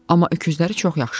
Amma öküzləri çox yaxşıdır.